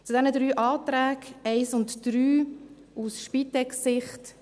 Zu den drei Anträgen aus Spitex-Sicht: